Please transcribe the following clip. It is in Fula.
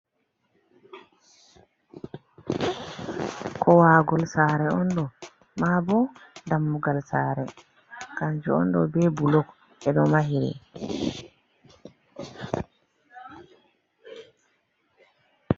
Kuwagol saare on ɗo, maa bo dammugal saare kanju on ɗo be bulok ɓe ɗo mahiri.